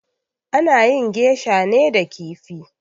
Ana yin geisha ne da kifi